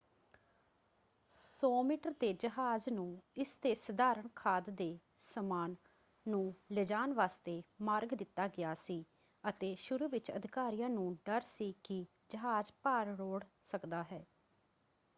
100 metre ਦੇ ਜਹਾਜ਼ ਨੂੰ ਇਸਦੇ ਸਧਾਰਣ ਖਾਦ ਦੇ ਸਮਾਨ ਨੂੰ ਲਿਜਾਣ ਵਾਸਤੇ ਮਾਰਗ ਦਿੱਤਾ ਗਿਆ ਸੀ ਅਤੇ ਸ਼ੁਰੂ ਵਿੱਚ ਅਧਿਕਾਰੀਆਂ ਨੂੰ ਡਰ ਸੀ ਕਿ ਜਹਾਜ਼ ਭਾਰ ਰੋੜ੍ਹ ਸਕਦਾ ਹੈ।